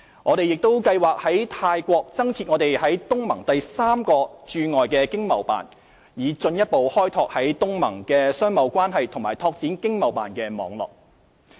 我們也計劃在泰國增設我們在東盟的第三個駐海外經濟貿易辦事處，以進一步開拓在東盟的商貿關係和拓展經貿辦的網絡。